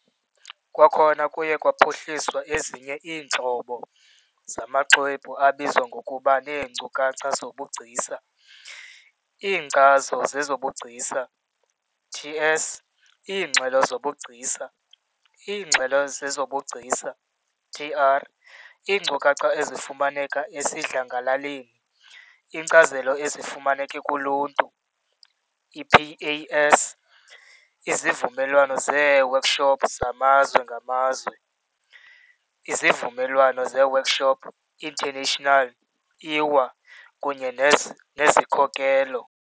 Kwakhona kuye kwaphuhliswa ezinye iintlobo zamaxwebhu abizwa ngokuba neenkcukacha zobugcisa, "IiNkcazo zezoBugcisa" - TS, iingxelo zobugcisa, "IiNgxelo zezoBugcisa" - TR, iinkcukacha ezifumaneka esidlangalaleni, "IiNkcazelo eziFumaneka kuLuntu" - i-PAS, izivumelwano zeeworkshop zamazwe ngamazwe, "Izivumelwano zeworkshop International" - IWA, kunye nezikhokelo.